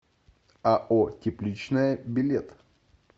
ао тепличное билет